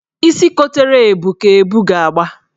Isi kotere ebu ka ebu ga-agba.